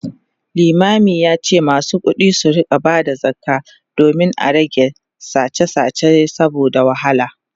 limamin yace masu kuɗi su rinka Bada zakka domin a rage sache sache saboda wahala